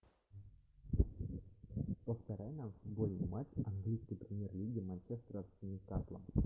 повторяй нам футбольный матч английской премьер лиги манчестера с ньюкаслом